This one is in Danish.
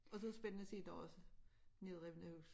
Og så det spændende at se der også nedrevne hus